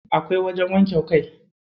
Akwai wajen wanke kai.